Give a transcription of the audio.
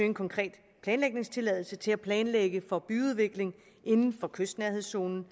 en konkret planlægningstilladelse til at planlægge for byudvikling inden for kystnærhedszonen